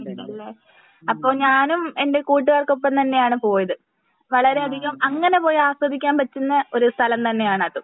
ഉണ്ടല്ലേ. അപ്പൊ ഞാനും എൻ്റെ കൂട്ടുകാർക്കൊപ്പം തന്നെയാണ് പോയത് വളരെയധികം അങ്ങിനെ പോയി ആസ്വദിക്കാൻ പറ്റുന്ന ഒരു സ്ഥലം തന്നെ ആണ് അതും